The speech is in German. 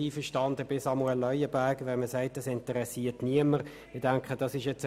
Zweitens, Samuel Leuenberger, ich bin mit Ihrer Aussage, das interessiere niemanden, nicht einverstanden.